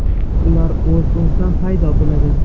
Ular o‘z-o‘zidan paydo bo‘ladi.